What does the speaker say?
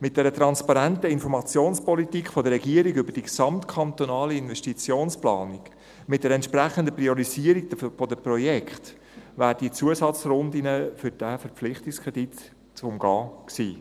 Mit einer transparenten Informationspolitik der Regierung über die gesamtkantonale Investitionsplanung, mit einer entsprechenden Priorisierung der Projekte wären die Zusatzrunden für diesen Verpflichtungskredit zu umgehen gewesen.